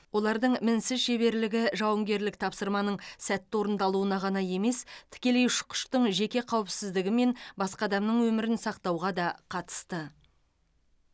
олардың мінсіз шеберлігі жауынгерлік тапсырманың сәтті орындалуына ғана емес тікелей ұшқыштың жеке қауіпсіздігі мен басқа адамның өмірін сақтауға да қатысты